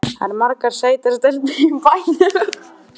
Það eru margar sætar stelpur í bænum.